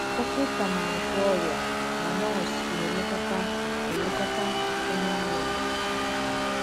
“ Dọkịta na - agwọ ọrịa, ma nọọsụ na - elekọta elekọta onye ọrịa.